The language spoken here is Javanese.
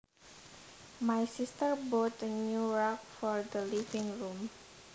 My sister bought a new rug for the living room